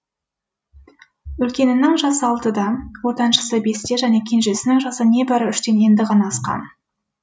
үлкенінің жасы алтыда ортаншысы бесте және кенжесінің жасы небәрі үштен енді ғана асқан